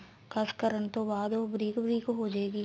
ਕਸ ਕਰਨ ਤੋਂ ਬਾਅਦ ਉਹ ਬਰੀਕ ਬਰੀਕ ਹੋ ਜੇਗੀ